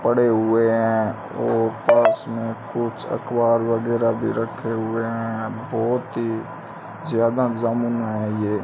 पड़े हुए हैं और पर्स में कुछ अखबार वगैरा भी रखे हुए हैं बहुत ही ज्यादा जामुन है ये।